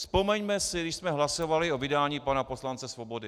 Vzpomeňme si, když jsme hlasovali o vydání pana poslance Svobody.